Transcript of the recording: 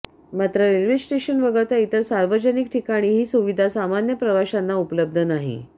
मात्र railway station वगळता इतर सार्वजनिक ठिकाणी ही सुविधा सामान्य प्रवशांना उपलब्ध नाही